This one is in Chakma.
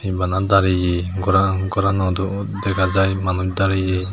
bana dareye goran goranodo dega jao manuj dareye.